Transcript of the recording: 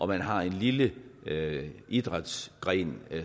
man har en lille idrætsgren